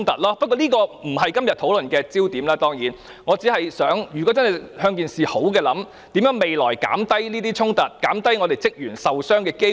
當然，這並非今天討論的焦點，我只是嘗試從正面的方向設想，看看未來如何減低這些衝突，減低職員受傷的機會。